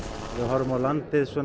ef við horfum á landið